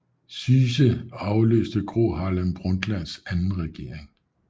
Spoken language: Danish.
Syse afløste Gro Harlem Brundtlands anden regering